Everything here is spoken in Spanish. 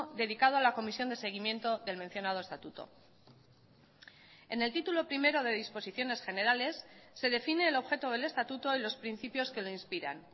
dedicado a la comisión de seguimiento del mencionado estatuto en el título primero de disposiciones generales se define el objeto del estatuto y los principios que le inspiran